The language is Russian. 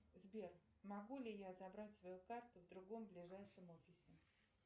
сбер могу ли я забрать свою карту в другом ближайшем офисе